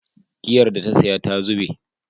Giyar da ta saya ta zube